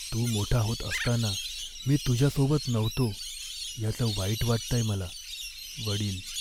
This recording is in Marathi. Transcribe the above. तू मोठा होत असताना मी तुझ्यासोबत नव्हतो याचं वाईट वाटतंय मला. वडील